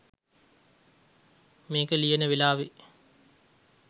මේක ලියන වෙලාවේ